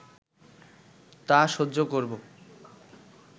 তা সহ্য করব